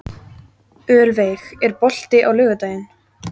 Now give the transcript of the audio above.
Ölveig, er bolti á laugardaginn?